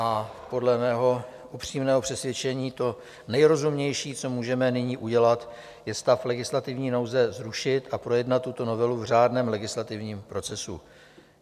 A podle mého upřímného přesvědčení to nejrozumnější, co můžeme nyní udělat, je stav legislativní nouze zrušit a projednat tuto novelu v řádném legislativním procesu.